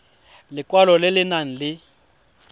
lekwalo le le nang le